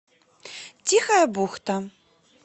тихая бухта